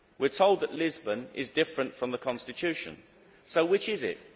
We are told that Lisbon is different from the Constitution, so which is it?